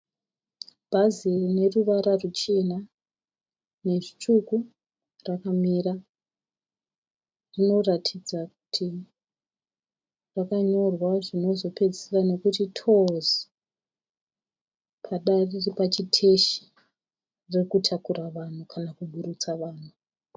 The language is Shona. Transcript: Bhazi rine ruvara ruchena norutsvuku rakamira. Rinoratidza kuti rakanyorwa zvinozopedzisira nokti "TOURS". Pada riri pachiteshi, riri kutakura vanhu kana kuburutsa vanhu.